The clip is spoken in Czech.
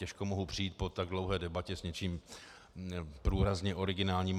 Těžko mohu přijít po tak dlouhé debatě s něčím průrazně originálním.